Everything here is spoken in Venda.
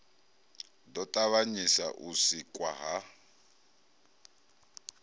ḓo ṱavhanyisa u sikwa ha